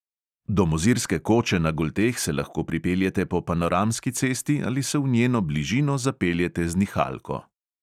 Do mozirske koče na golteh se lahko pripeljete po panoramski cesti ali se v njeno bližino zapeljete z nihalko.